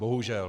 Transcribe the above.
Bohužel.